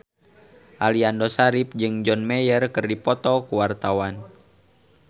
Aliando Syarif jeung John Mayer keur dipoto ku wartawan